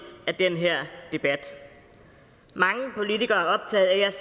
af den her debat mange politikere